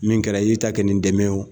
Min kɛra iye i ta kɛ nin dɛmɛ o